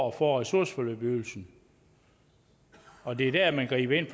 at få ressourceforløbsydelsen og det er der man griber ind